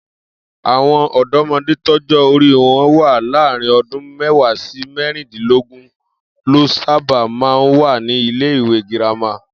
Àwo̩n ò̩dó̩mo̩dé tọ́jó̩ orí wo̩n wà láàárín o̩dún mé̩wàá sí mé̩rìndínlógún ló sábà máa ń wà ní ilé-ìwé girama